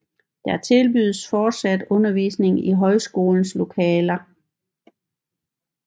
Der tilbydes fortsat undervisning i højskolens lokaler